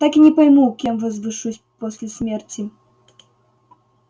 так и не пойму кем возвышусь после смерти